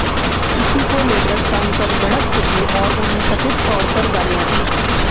इसी को लेकर सांसद भड़क उठे और उन्हें कथित तौर पर गालियां दी